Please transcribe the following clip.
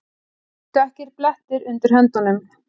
Dökkir blettir undir höndunum.